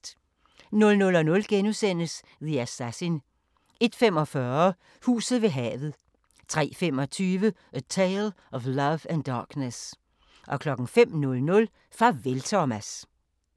00:00: The Assassin * 01:45: Huset ved havet 03:25: A Tale of Love and Darkness 05:00: Farvel Thomas